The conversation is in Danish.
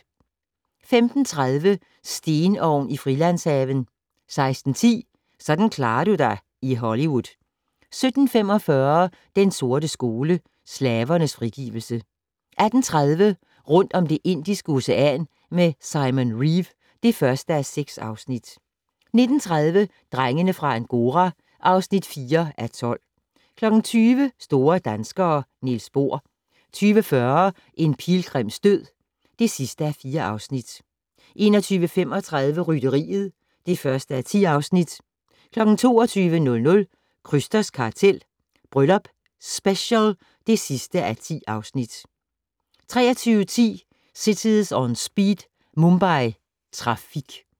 15:30: Stenovn i Frilandshaven 16:10: Sådan klarer du dig i Hollywood 17:45: Den sorte skole: Slavernes frigivelse 18:30: Rundt om Det Indiske Ocean med Simon Reeve (1:6) 19:30: Drengene fra Angora (4:12) 20:00: Store danskere - Niels Bohr 20:40: En pilgrims død (4:4) 21:35: Rytteriet (1:10) 22:00: Krysters kartel - Bryllup Special (10:10) 23:10: Cities On Speed - Mumbai Trafik